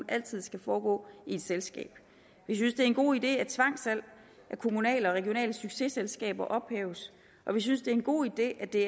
altid skal foregå i et selskab vi synes det er en god idé at tvangssalg af kommunale og regionale successelskaber ophæves og vi synes det er en god idé at det